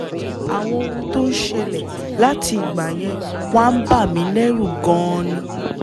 àwọn ohun tó ń ṣẹlẹ̀ láti ìgbà yẹn wá ń bà mí lẹ́rù gan-an ni